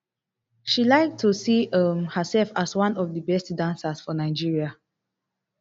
she like to see um herself as one of di best dancers for nigeria